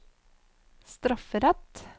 strafferett